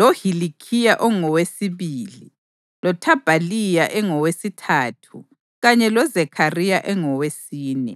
loHilikhiya engowesibili, loThabhaliya engowesithathu kanye loZekhariya engowesine.